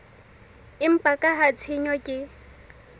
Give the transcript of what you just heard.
empa ka ha tshenyo ke